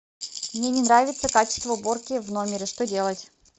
мне не нравится качество уборки в номере что делать